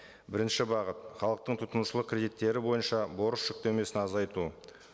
бірінші бағыт халықтың тұтынушылық кредиттері бойынша борыш жүктемесін азайту